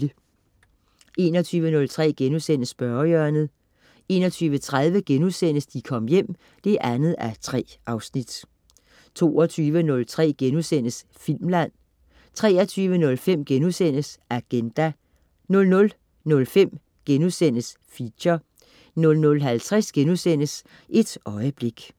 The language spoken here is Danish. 21.03 Spørgehjørnet* 21.30 De Kom Hjem 2:3* 22.03 Filmland* 23.05 Agenda* 00.05 Feature* 00.50 Et øjeblik*